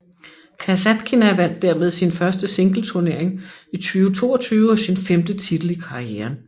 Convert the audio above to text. Kasatkina vandt dermed sin første singleturnering i 2022 og sin femte titel i karrieren